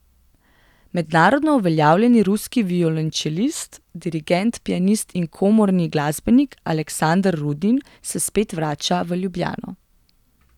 Mednarodno uveljavljeni ruski violončelist, dirigent, pianist in komorni glasbenik Aleksander Rudin se spet vrača v Ljubljano.